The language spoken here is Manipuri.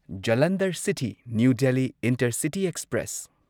Jalandhar city new Delhi intercity express